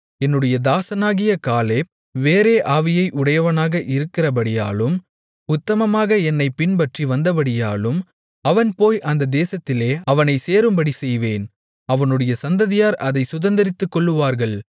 என்னுடைய தாசனாகிய காலேப் வேறே ஆவியை உடையவனாக இருக்கிறபடியாலும் உத்தமமாக என்னைப் பின்பற்றி வந்தபடியாலும் அவன் போய் வந்த தேசத்திலே அவனைச் சேரும்படிச்செய்வேன் அவனுடைய சந்ததியார் அதைச் சுதந்தரித்துக்கொள்ளுவார்கள்